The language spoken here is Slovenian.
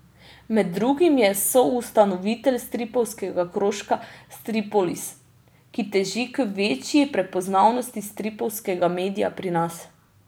Med drugim je soustanovitelj stripovskega krožka Stripolis, ki teži k večji prepoznavnosti stripovskega medija pri nas.